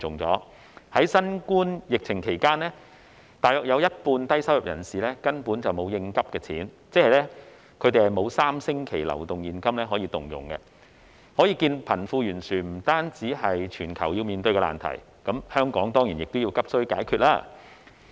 在新冠疫情期間，大約有一半的低收入人士根本沒有應急錢，即他們沒有3星期的流動現金可動用，可見貧富懸殊不單是全球要面對的難題，亦當然是香港急需解決的事宜。